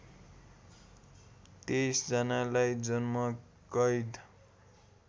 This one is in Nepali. २३ जनालाई जन्मकैद